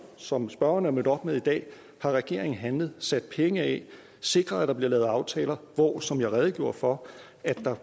som spørgeren er mødt op med i dag har regeringen handlet sat penge af sikret at der bliver lavet aftaler hvor der som jeg redegjorde for